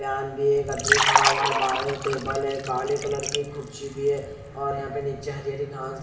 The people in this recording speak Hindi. यहां भी एक आदमी खड़ा हुआ है बाहर यो टेबल है काले कलर की एक कुर्सी भी है और यहां पे नीचे हरी हरी घास --